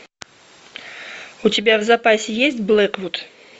у тебя в запасе есть блэквуд